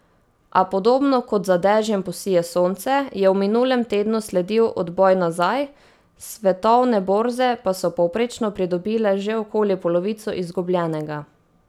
A podobno kot za dežjem posije sonce, je v minulem tednu sledil odboj nazaj, svetovne borze pa so povprečno pridobile že okoli polovico izgubljenega.